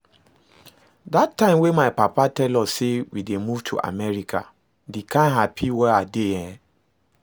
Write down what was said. Dat time when my papa tell us say we dey move to America, the kyn happy wey I dey eh